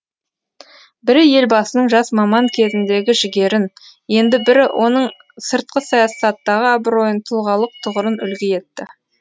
бірі елбасының жас маман кезіндегі жігерін енді бірі оның сыртқы саясаттағы абыройын тұлғалық тұғырын үлгі етті